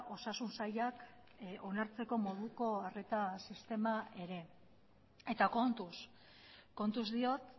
osasun sailak onartzeko moduko arreta sistema ere eta kontuz kontuz diot